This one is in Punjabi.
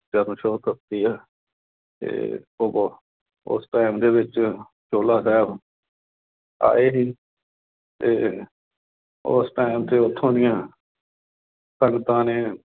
ਚਰਨ ਛੋਹ ਪ੍ਰਾਪਤ ਆ। ਤੇ ਉਦੋਂ, ਉਸ time ਦੇ ਵਿੱਚ ਚੋਹਲਾ ਸਾਹਿਬ ਆਏ ਸੀ। ਤੇ ਉਸ time ਤੇ, ਉਥੋਂ ਦੀਆਂ ਸੰਗਤਾਂ ਨੇ